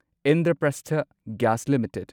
Indraprastha gas limited